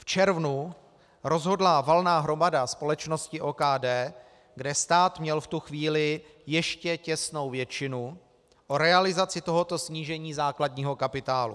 V červnu rozhodla valná hromada společnosti OKD, kde stát měl v tu chvíli ještě těsnou většinu, o realizaci tohoto snížení základního kapitálu.